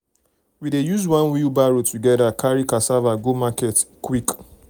we dey use one wheelbarrow together carry cassava go market quick quick